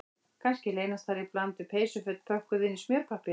Kannski leynast þar í bland við peysuföt pökkuð innan í smjörpappír